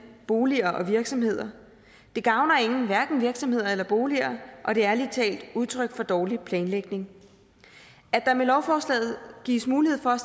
boliger og virksomheder det gavner ingen hverken virksomheder eller boliger og det er ærlig talt udtryk for dårlig planlægning at der med lovforslaget gives mulighed for